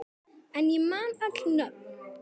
En ég man öll nöfn.